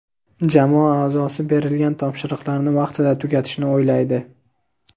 jamoa aʼzosi berilgan topshiriqlarni vaqtida tugatishni o‘ylaydi;.